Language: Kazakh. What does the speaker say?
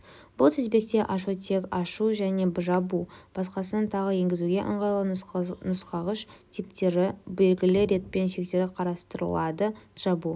бұл тізбекте тек ашу және жабу басқасынан тағы енгізуге ыңғайлы нұсқағыш типтері белгілі ретпен шектері қарастырылады жабу